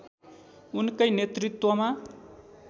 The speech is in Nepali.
उनकै नेतृत्वमा